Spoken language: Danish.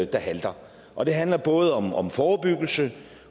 der halter og det handler både om forebyggelse